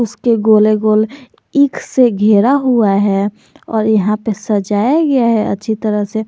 उसके गोले गोले ईख से घेरा हुआ है और यहां पे सजाया गया है अच्छी तरह से--